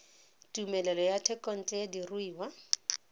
tumelelo ya thekontle ya diruiwa